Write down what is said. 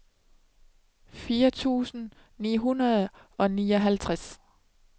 fire tusind ni hundrede og nioghalvtreds